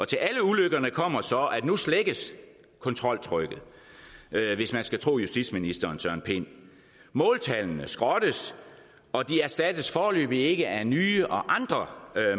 til alle ulykkerne kommer så at nu slækkes kontroltrykket hvis man skal tro justitsministeren måltallene skrottes og de erstattes foreløbig ikke af nye og andre